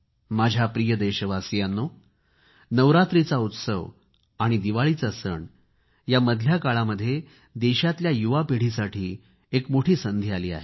माझ्या प्रिय देशवासियांनो नवरात्राचा उत्सव आणि दिवाळीचा सण या मधल्या काळामध्ये देशातल्या युवापिढीसाठी एक मोठी संधी आली आहे